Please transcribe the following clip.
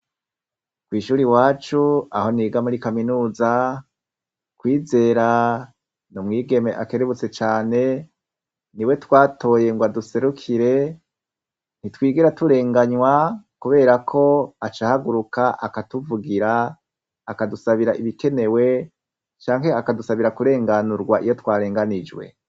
Kw'ishuri wacu aho niga muri kaminuza .Kwizera numwigeme akerebutse cane ni we twatoyengwa duserukire ntitwigera turenganywa kubera ko acahaguruka akatuvugira akadusabira ibikenewe canke akadusabira kurenganurwa iyo twarenganijwe.